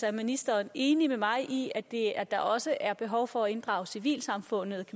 er ministeren enig med mig i i at der også er behov for at inddrage civilsamfundet